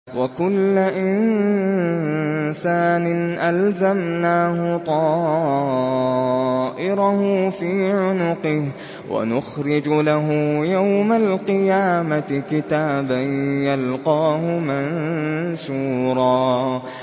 وَكُلَّ إِنسَانٍ أَلْزَمْنَاهُ طَائِرَهُ فِي عُنُقِهِ ۖ وَنُخْرِجُ لَهُ يَوْمَ الْقِيَامَةِ كِتَابًا يَلْقَاهُ مَنشُورًا